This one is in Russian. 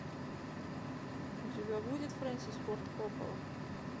у тебя будет фрэнсис форд коппола